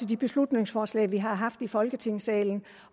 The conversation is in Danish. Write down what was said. de beslutningsforslag vi har haft i folketingssalen